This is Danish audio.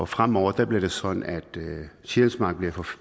fremover bliver det sådan at sjælsmark bliver for